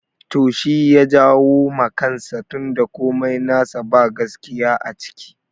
To shi ya jawo ma kansa tun da komai nasa ba gaskiya a ciki